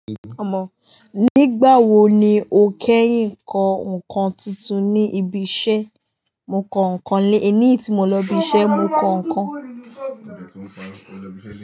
Ọmọ, nígbà wo ni o kẹ́yìn kọ ǹkan tuntun ní ibi iṣẹ́? Mo kọ ǹkan lé ẹní tí mo lọ ibi iṣẹ́, mo kọ ǹkan.